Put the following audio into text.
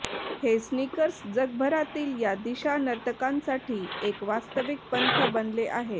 हे स्नीकर्स जगभरातील या दिशा नर्तकांसाठी एक वास्तविक पंथ बनले आहेत